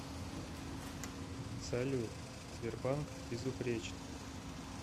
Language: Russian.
салют сбербанк безупречный